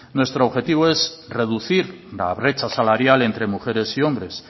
nuestro objetivo es reducir la brecha salarial entre mujeres y hombres